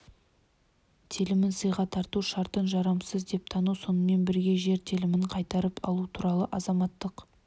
телімін сыйға тарту шартын жарамсыз деп тану сонымен бірге жер телімін қайтарып алу туралы азаматтық